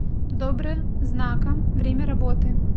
добра знака время работы